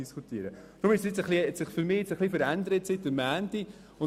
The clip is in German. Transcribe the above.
Darum hat sich für mich die Situation seit Montag verändert.